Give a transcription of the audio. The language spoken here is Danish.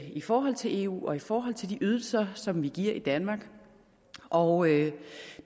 i forhold til eu og i forhold til de ydelser som vi giver i danmark og